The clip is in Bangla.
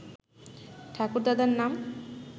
ঠাকুরদাদার নাম